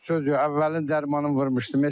Sözü əvvəlin dərmanını vurmuşdum.